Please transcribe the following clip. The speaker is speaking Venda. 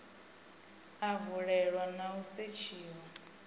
a valelwa na u setshiwa